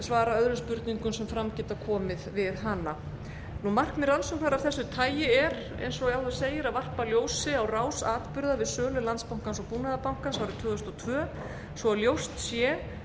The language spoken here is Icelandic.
svari öðrum spurningum sem fram geta komið við hana markmið rannsóknar af þessu tagi er eins og áður segir að varpa ljósi á rás atburða við sölu landsbankans og búnaðarbankans árið tvö þúsund og tvö svo ljóst sé